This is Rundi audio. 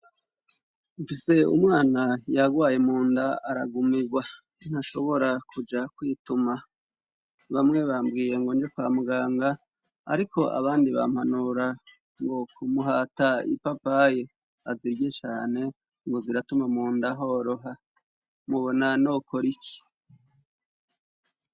Mfise umwana yagwaye mu nda aragumirwa ntashobora kuja kwituma bamwe bambwiye ngo nje kwa muganga, ariko abandi bampanura ngo kumuhata ipapaye azirye cane ngo ziratuma mu ndahoroha mubona nokori iki?